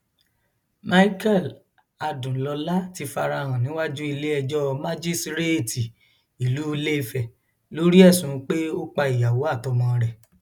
michael adùnlọlá ti fara hàn níwájú iléẹjọ májísréètì ìlú ilẹfẹ lórí ẹsùn pé ó pa ìyàwó àtọmọ rẹ